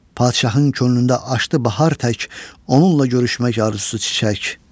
Padşahın könlündə açdı bahar tək onunla görüşmək arzusu çiçək.